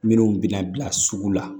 Minnu bɛna bila sugu la